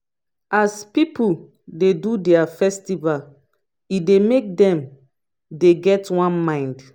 as pipu dey do their festival e dey make dem dey get one mind